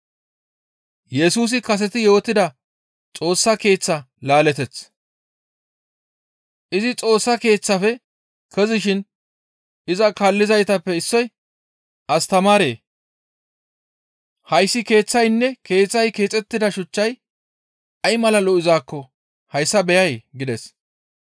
Izi Xoossa Keeththaafe kezishin iza kaallizaytappe issoy, «Astamaaree! Hayssi keeththaynne keeththay keexettida shuchchay ay mala lo7izaakko hayssa beyay?» gides.